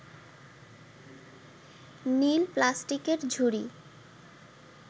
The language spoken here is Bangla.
নীল প্লাস্টিকের ঝুড়ি